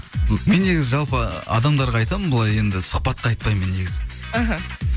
мен негізі жалпы адамдарға айтамын былай енді сұхбатқа айтпаймын мен негізі іхі